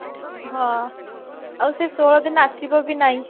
ହଁ ଆଉ ସେ ଷୋହଳ ଦିନ ଆସିବ ଭି ନାହିଁ